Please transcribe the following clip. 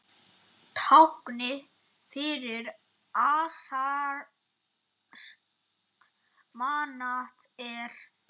Ljúfur andi sveif yfir vötnum.